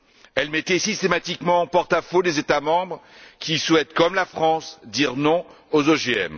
Elle mettait systématiquement en porte à faux les États membres qui souhaitent comme la France dire non aux OGM.